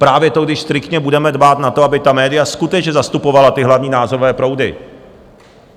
Právě to, když striktně budeme dbát na to, aby ta média skutečně zastupovala ty hlavní názorové proudy.